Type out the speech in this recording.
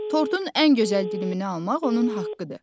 Tortun ən gözəl dilimini almaq onun haqqıdır.